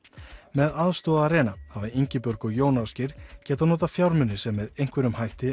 með aðstoð Arena hafa Ingibjörg og Jón Ásgeir geta notað fjármuni sem með einhverjum hætti